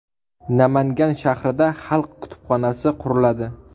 Namangan shahrida xalq kutubxonasi quriladi .